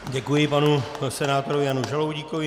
Děkuji panu senátorovi Janu Žaloudíkovi.